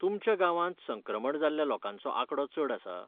तुमच्या गावांत संक्रमण जाल्ल्या लोकांचो आंकडो चड आसा?